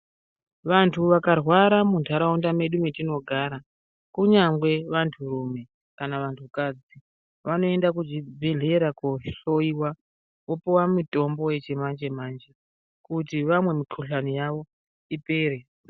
Vantu vakarwara mundaraunda medu metinogara kunyangwe vantu rume kana vantu kadzi vanoenda kuzvibhedhlera kohloiwa vopuwa mitombo yechimanje manje kuti vamweni mikuhlani yawo ipere.